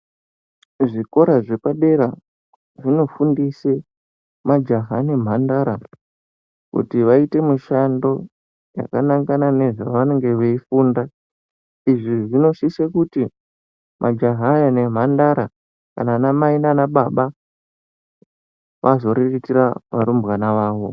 Muzvikora zvepadera zvinofundise majaha nemhandara, kuti vaite mishando yakanangana nezvavanenge veifunda. Izvi zvinosise kuti majaha aya nemhandara, kana vanamai naanababa vazoriritira varumbwana vavo.